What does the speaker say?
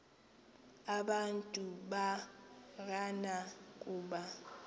abantu barana kuba